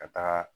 Ka taaga